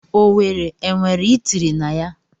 Owerri enwere itiri na ya?